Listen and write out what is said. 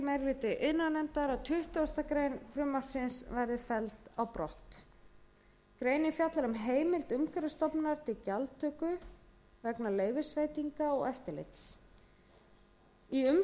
hlutinn til að tuttugustu greinar frumvarpsins falli brott greinin fjallar um heimild umhverfisstofnunar til gjaldtöku vegna leyfisveitinga og eftirlits í umsögn